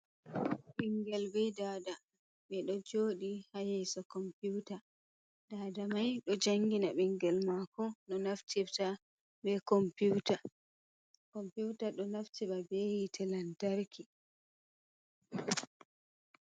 Ɓingel be dada ɓe ɗo jodi ha yeeso komputa, dada mai do jangina ɓingel mako no naftirta be komputa. Komputa do naftira be hite lantarki.